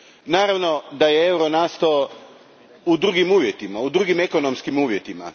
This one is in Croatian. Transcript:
Naravno da je euro nastao u drugim uvjetima, u drugim ekonomskim uvjetima.